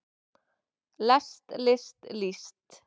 lest list líst